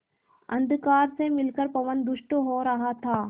अंधकार से मिलकर पवन दुष्ट हो रहा था